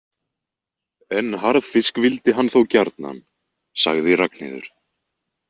En harðfisk vildi hann þó gjarnan, sagði Ragnheiður.